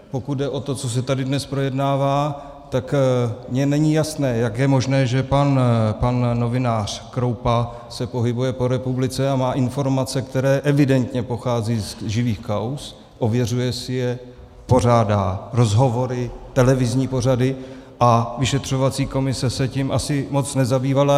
Pokud jde o to, co se tady dnes projednává, tak mně není jasné, jak je možné, že pan novinář Kroupa se pohybuje po republice a má informace, které evidentně pocházejí z živých kauz, ověřuje si je, pořádá rozhovory, televizní pořady, a vyšetřovací komise se tím asi moc nezabývala.